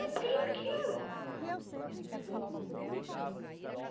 Eu tenho aquilo.